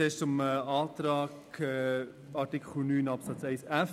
Zuerst zum Antrag zu Artikel 9 Absatz 1 Buchstabe f: